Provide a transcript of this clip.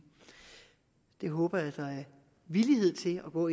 jeg håber der er villighed til at gå